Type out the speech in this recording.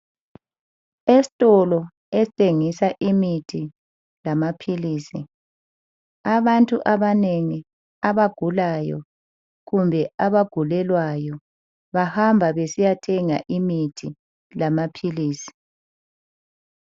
Esikolo esithengisa imithi lamaphilisi abantu abanengi abagulayo kumbe abagulelwayo bahamba besiyathenga imithi lamaphilisi